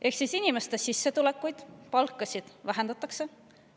Ehk inimeste sissetulekuid, palkasid vähendatakse.